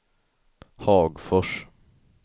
Hagfors